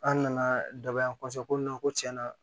An nana daba in kɔsɔn ko ko tiɲɛna